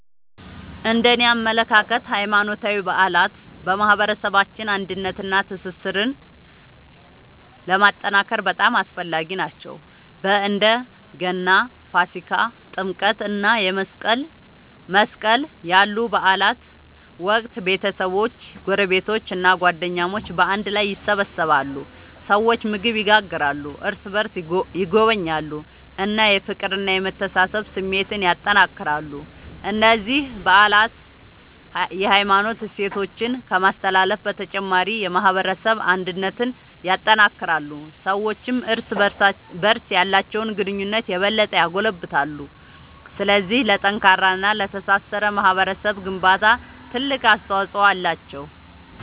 እነደኔ አመለካከት ሃይማኖታዊ በዓላት በማህበረሰባችን አንድነትንና ትስስርን ለማጠናከር በጣም አስፈላጊ ናቸው። በእንደ ገና፣ ፋሲካ፣ ጥምቀት እና መስቀል ያሉ በዓላት ወቅት ቤተሰቦች፣ ጎረቤቶች እና ጓደኞች በአንድ ላይ ይሰበሰባሉ። ሰዎች ምግብ ይጋራሉ፣ እርስ በርስ ይጎበኛሉ እና የፍቅርና የመተሳሰብ ስሜትን ያጠናክራሉ። እነዚህ በዓላት የሃይማኖት እሴቶችን ከማስተላለፍ በተጨማሪ የማህበረሰብ አንድነትን ያጠናክራሉ። ሰዎችም እርስ በርስ ያላቸውን ግንኙነት የበለጠ ያጎለብታሉ። ስለዚህ ለጠንካራና ለተሳሰረ ማህበረሰብ ግንባታ ትልቅ አስተዋጽኦ አላቸው።